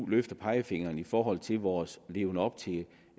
løfte pegefingeren i forhold til vores leven op til